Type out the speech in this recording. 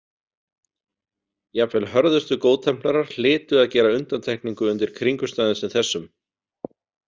Jafnvel hörðustu góðtemplarar hlytu að gera undantekningu undir kringumstæðum sem þessum.